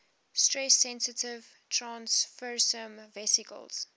stress sensitive transfersome vesicles